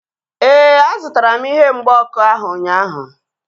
Éè, a zụtara m ihe mgba ọkụ ahu ụnyaahụ